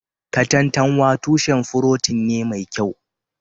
Katantanwa tushen furotin ne mai kyau